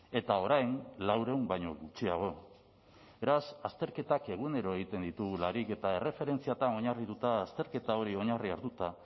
eta orain laurehun baino gutxiago beraz azterketak egunero egiten ditugularik eta erreferentziatan oinarrituta azterketa hori oinarri hartuta